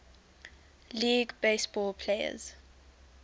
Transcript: league baseball players